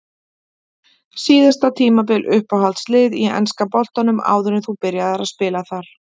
Síðasta tímabil Uppáhalds lið í enska boltanum áður en þú byrjaðir að spila þar?